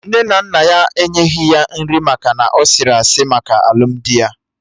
Nne na nna ya enyeghi ya nri maka na ọ sịrị asị maka alụmdi ya